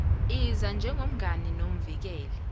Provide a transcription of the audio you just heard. iza njengomngani nomvikeli